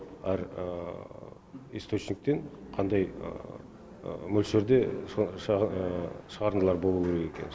әр источниктен қандай мөлшерде шығарындылар болуы керек екені